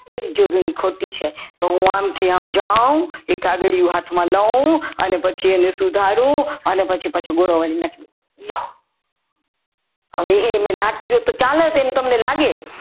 એક જોડણી ખોટી છે તો હું આમથી આમ જાઉં એ કાગળિયો હાથમાં લવ અને પછી એને સુધારું અને પછી પાછું ગોળો વાળીને ફેંકી દઉં લ્યો હવે મેં એ ના કર્યું હોત તો ચાલો તમને એવું લાગત.